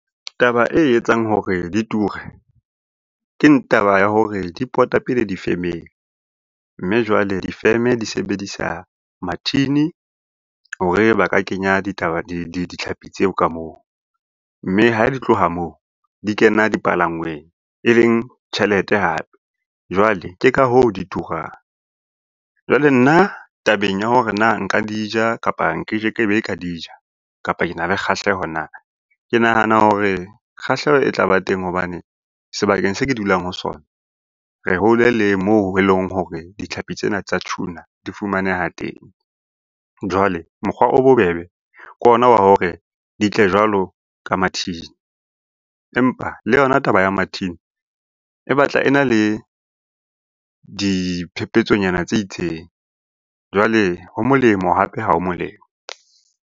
Taba e etsang hore di ture, ke taba ya hore di pota pele difemeng, mme jwale difeme di sebedisa mathini hore ba ka kenya ditlhapi tseo ka moo, mme ha di tloha moo di kena dipalangweng e leng tjhelete hape, jwale ke ka hoo di turang. Jwale nna tabeng ya hore na nka di ja, kapa nkekebe ka di ja, kapa ke na le kgahleho na, ke nahana hore kgahleho e tla ba teng hobane sebakeng se ke dulang ho sona re hole le moo e leng hore ditlhapi tsena tsa tjhuna di fumaneha teng. Jwale mokgwa o bobebe ke ona wa hore di tle jwalo ka mathini, empa le yona taba ya mathini e batla e na le diphepetsonyana tse itseng, jwale ho molemo hape ha o molemo.